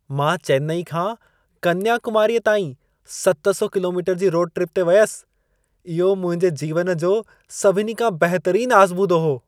मां चेन्नई खां कन्याकुमारीअ ताईं 700 कि.मी. जी रोड ट्रिप ते वियसि। इहो मुंहिंजे जीवन जो सभिनी खां बहितरीन आज़मूदो हो।